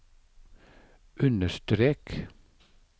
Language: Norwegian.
understrek